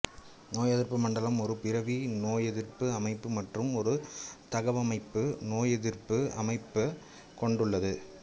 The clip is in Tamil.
நோயெதிர்ப்பு மண்டலம் ஒரு பிறவி நோயெதிர்ப்பு அமைப்பு மற்றும் ஒரு தகவமைப்பு நோயெதிர்ப்பு அமைப்பை கொண்டுள்ளது